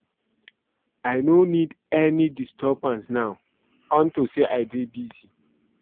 I no need any disturbance now unto say I dey busy